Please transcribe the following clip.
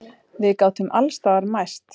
Við gátum alls staðar mæst.